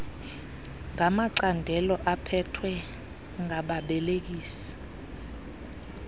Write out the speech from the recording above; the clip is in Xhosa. ngamacandelo aphethwe ngababelekisi